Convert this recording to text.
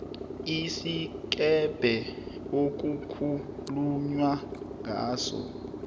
isikebhe okukhulunywa ngaso